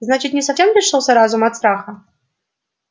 значит не совсем лишился разума от страха